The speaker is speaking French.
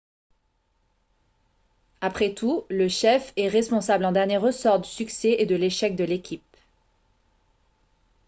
après tout le chef est responsable en dernier ressort du succès et de l'échec de l'équipe